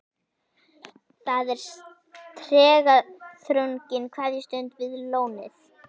Það er tregaþrungin kveðjustund við lónið.